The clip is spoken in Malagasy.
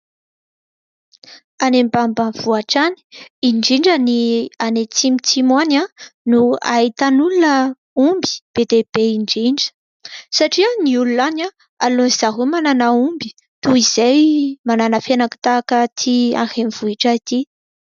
Any ambanimbanivohatra any indrindra, any atsimotsimo any no ahitan'olona omby be dia be indrindra satria ny olona any aleon' izareo manana omby toy izay manana fiainaky tahaka aty any renivohitra ity.